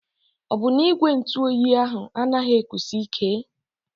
Ọ bụ na ígwè ntụ óyi ahụ anaghị ekusi ike?